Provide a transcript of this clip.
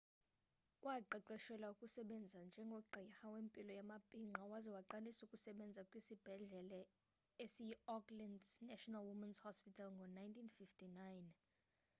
waqeqeshelwa ukusebenza njengogqirha wempilo yamabhinqa waza waqalisa ukusebenza kwisibhedlele esiyiauckland's national women's hospital ngo-1959